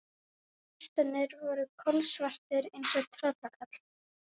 Klettarnir voru kolsvartir eins og tröllkarlar.